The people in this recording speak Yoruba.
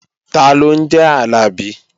Taló ń jẹ́ Àlàbí?